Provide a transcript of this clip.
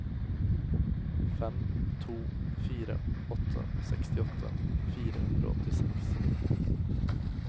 fem to fire åtte sekstiåtte fire hundre og åttiseks